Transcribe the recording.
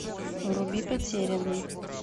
вруби потерянный